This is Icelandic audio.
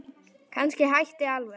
Kannski hætta alveg.